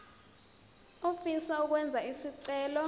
ofisa ukwenza isicelo